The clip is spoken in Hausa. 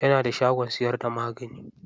Yana da shagon siyar da magani.